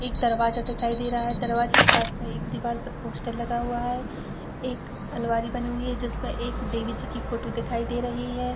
एक दरवाजा दिखाई दे रहा है दरवाजे के पास में एक दीवार पर पोस्टर लगा हुआ है एक अलमारी बनी हुई है जिसमें एक देवी जी की फोटो दिखाई दे रही है।